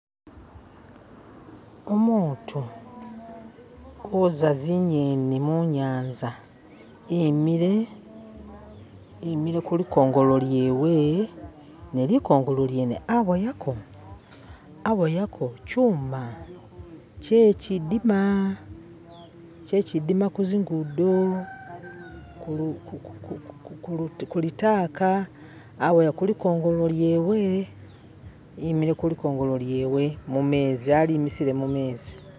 Umutu uza zinyeni munyanza imile imile kulikongolo lyewe ne likongolo lyene aboyako aboyako chuma kyechidima kyechidima kunzigudo ku ukulitaka aboya kulikongolo lyewe imile kulikongolo lyewe mumezi alimisile mumezi